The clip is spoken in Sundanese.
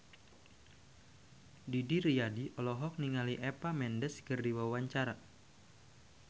Didi Riyadi olohok ningali Eva Mendes keur diwawancara